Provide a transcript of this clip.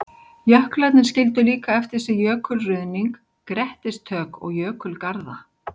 Jöklarnir skildu líka eftir sig jökulruðning, grettistök og jökulgarða.